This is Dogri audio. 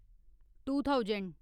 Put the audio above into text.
to thousand